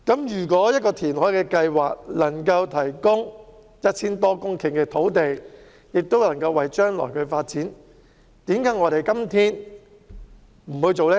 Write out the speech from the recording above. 如果一項填海計劃能夠提供 1,000 多公頃土地，有助將來發展，為甚麼我們今天不去做呢？